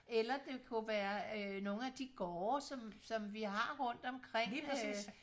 eller det kunne være øh nogle af de gårde som vi har rundt omkring øh